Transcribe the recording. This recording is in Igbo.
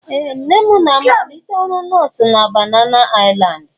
Ee! Nne m na-amalite ọrụ nọọsụ na Banana Island?